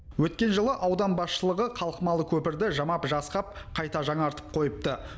өткен жылы аудан басшылығы қалқымалы көпірді жамап жасқап қайта жаңартып қойыпты